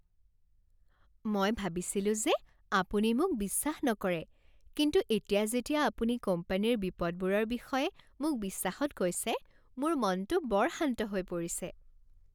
মই ভাবিছিলো যে আপুনি মোক বিশ্বাস নকৰে কিন্তু এতিয়া যেতিয়া আপুনি কোম্পানীৰ বিপদবোৰৰ বিষয়ে মোক বিশ্বাসত কৈছে, মোৰ মনটো বৰ শান্ত হৈ পৰিছে।